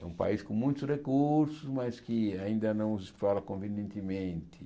É um país com muitos recursos, mas que ainda não explora convenientemente.